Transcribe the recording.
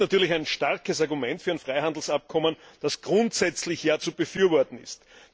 Das ist natürlich ein starkes Argument für ein Freihandelsabkommen, das grundsätzlich ja zu befürworten ist.